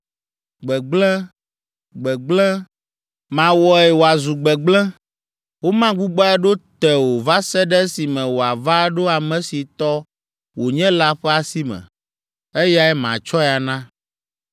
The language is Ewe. Gbegblẽ! Gbegblẽ! Mawɔe wòazu gbegblẽ. Womagbugbɔe aɖo te o va se ɖe esime wòava aɖo ame si tɔ wònye la ƒe asi me; eyae matsɔe ana.’